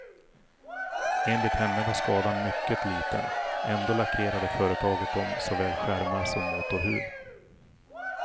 Enligt henne var skadan mycket liten, ändå lackerade företaget om såväl skärmar som motorhuv.